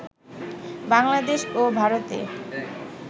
বাংলাদেশ ও ভারতে